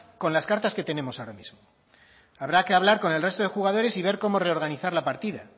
con las cartas que tenemos ahora mismo habrá que hablar con el resto de jugadores y ver cómo reorganizar la partida